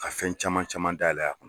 A fɛn caman caman dayɛlɛ a kɔnɔ.